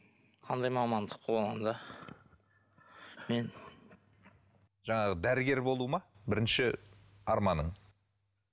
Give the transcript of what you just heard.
қандай мамандық болғанда мен жаңағы дәрігер болу ма бірінші арманың